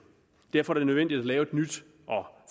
derfor er det nødvendigt at lave et nyt og